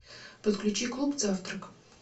подключи клуб завтрак